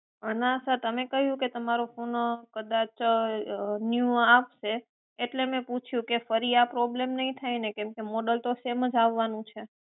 ના સર તમે કહ્યું કે તમારો ફોન કદાચ ન્યુ આપશે એટલે મેં પૂછ્યું કે ફરી આ problem તો નઈ થાય ને કેમ કે મોડેલ તો સેમ જ આવવાનું છે